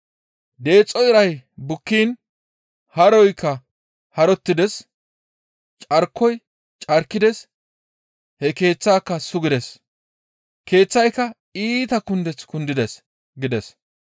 Deexo iray bukkiin haroykka harottides; carkoyka carkides; he keeththaaka sugides; keeththayka iita kundeth kundides» gides.